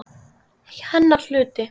Hennar hluti.